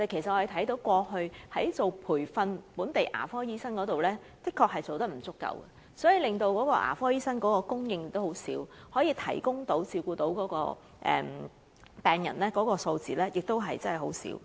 政府過去在培訓本地牙科醫生方面確實做得不足，所以令牙科醫生供應量偏低，向病人提供的服務和照顧亦不足。